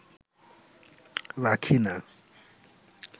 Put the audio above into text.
রাখি না